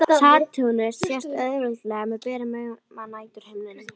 Satúrnus sést auðveldlega með berum augum á næturhimninum.